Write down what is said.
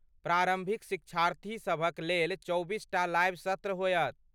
प्रारम्भिक शिक्षार्थीसभक लेल चौबीसटा लाइव सत्र होयत।